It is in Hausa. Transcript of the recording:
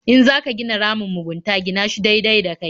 In za ka gina ramin mugunta gina shi daidai da kai.